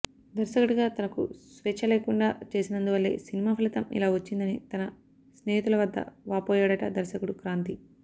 దర్శకుడిగా తనకు స్వేచ్ఛ లేకుండా చేసినందువల్లే సినిమా ఫలితం ఇలా వచ్చిందని తన సన్నిహితుల వద్ద వాపోయాడట దర్శకుడు క్రాంతి